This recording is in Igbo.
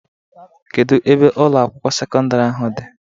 Kedu ebe Ụlọ akwụkwọ sekọndrị ahụ dị?